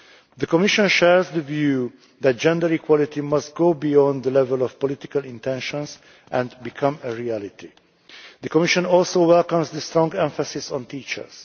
The Commission shares the view that gender equality must go beyond the level of political intentions and become a reality. The Commission also welcomes the strong emphasis on teachers.